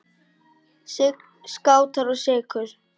Sign, Skátar og Sykur.